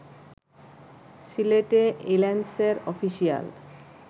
সিলেটে ইল্যান্সের অফিসিয়াল